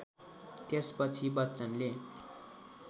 त्यसपछि बच्चनले